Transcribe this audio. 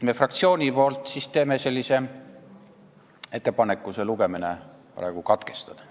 Meie fraktsiooni nimel teen ettepaneku lugemine praegu katkestada.